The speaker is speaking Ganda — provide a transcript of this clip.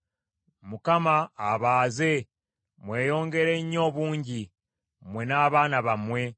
Mukama abaaze mweyongere nnyo obungi, mmwe n’abaana bammwe.